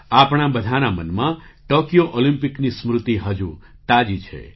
આપણા બધાંના મનમાં ટૉકિયો ઑલિમ્પિકની સ્મૃતિ હજુ તાજી છે